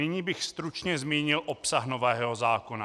Nyní bych stručně zmínil obsah nového zákona.